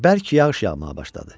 Bərk yağış yağmağa başladı.